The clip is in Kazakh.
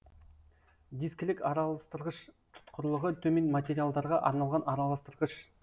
дискілік араластырғыш тұтқырлығы төмен материалдарға арналған араластырғыш